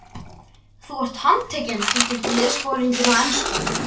Þú ert handtekinn tilkynnti liðsforinginn á ensku.